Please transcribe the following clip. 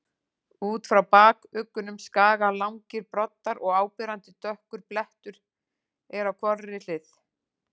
Út frá bakuggunum skaga langir broddar og áberandi dökkur blettur er á hvorri hlið.